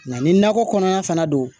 Nka ni nakɔ kɔnɔna fana don